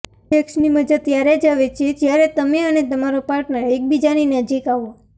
સેક્સની મજા ત્યારે જ આવે છે જ્યારે તમે અને તમારો પાર્ટનર એકબીજાની નજીક આવો